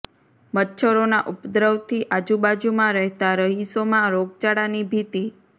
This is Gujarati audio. મચ્છરો ના ઉપદ્રવ થી આજુ બાજુ માં રહેતા રહીશો માં રોગચાળા ની ભીતી